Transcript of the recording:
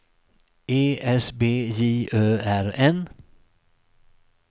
E S B J Ö R N